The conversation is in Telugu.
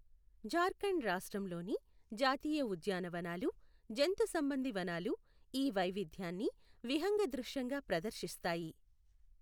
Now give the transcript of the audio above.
జార్ఖండ్ రాష్ట్రంలోని జాతీయ ఉద్యానవనాలు, జంతుసంబంధి వనాలు ఈ వైవిధ్యాన్ని విహంగదృశ్యంగా ప్రదర్శిస్తాయి.